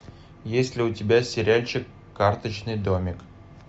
есть ли у тебя сериальчик карточный домик